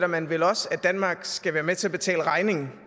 man vel også at danmarks skal være med til at betale regningen